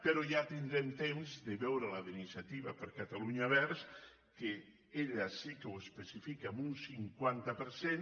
però ja tindrem temps de veure la d’iniciativa per catalunya verds que sí que ho especifica en un cinquanta per cent